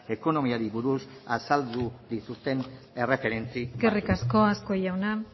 ekonomiari buruz azaldu dituzten erreferentzi eskerrik asko azkue jauna